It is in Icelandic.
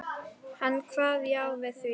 Hann kvað já við því.